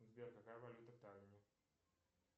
сбер какая валюта в таллине